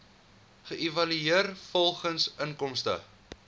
geëvalueer volgens inkomste